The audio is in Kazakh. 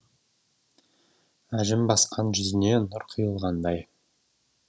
әжім басқан жүзіне нұр құйылғандай